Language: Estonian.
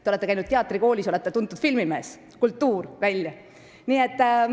Te olete käinud teatrikoolis ja olete tuntud filmimees – kultuur välja!